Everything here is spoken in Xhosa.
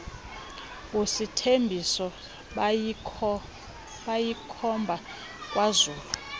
usithembiso bayikhomba kwazulu